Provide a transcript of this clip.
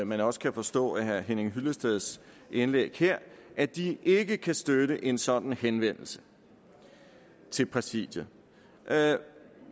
man også kan forstå af herre henning hyllesteds indlæg her at de ikke kan støtte en sådan henvendelse til præsidiet